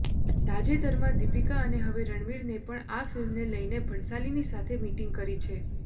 તાજેતરમાં દીપિકા અને હવે રણવીરને પણ આ ફિલ્મને લઇને ભણસાલીની સાથે મીટિંગ કરી છે